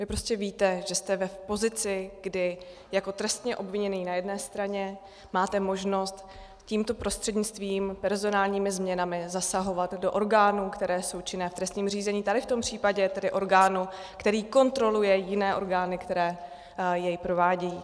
Vy prostě víte, že jste v pozici, kdy jako trestně obviněný na jedné straně máte možnost tímto prostřednictvím, personálními změnami, zasahovat do orgánů, které jsou činné v trestním řízení, tady v tom případě tedy orgánu, který kontroluje jiné orgány, které je provádějí.